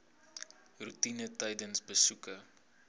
roetine tydens besoeke